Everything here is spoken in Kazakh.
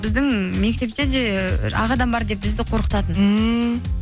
біздің мектепте де ы ақ адам бар деп бізді қорқытатын ммм